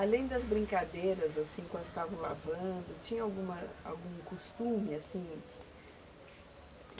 Além das brincadeiras, assim, quando estavam lavando, tinha alguma, algum costume, assim?